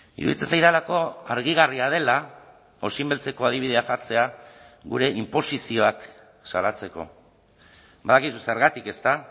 iruditzen zaidalako argigarria dela osinbeltzeko adibidea jartzea gure inposizioak salatzeko badakizu zergatik ezta